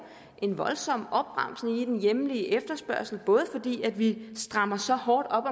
en voldsom opbremsning i den hjemlige efterspørgsel både fordi vi strammer så hårdt op